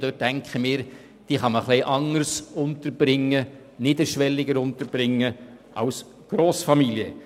Ich denke, diese können anders untergebracht werden als Grossfamilien.